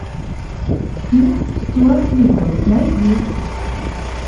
фильм стюарт литтл найди